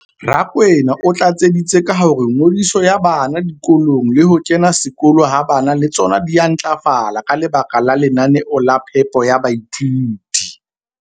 Rakwena o tlatseditse ka hore ngodiso ya bana dikolong le ho kena sekolo ha bana le tsona di a ntlafala ka lebaka la lenaneo la phepo ya baithuti.